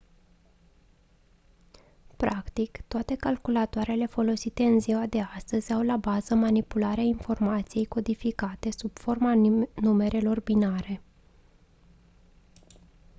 practic toate calculatoarele folosite în ziua de astăzi au la bază manipularea informației codificate sub forma numerelor binare